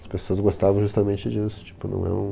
As pessoas gostavam justamente disso. Tipo não é um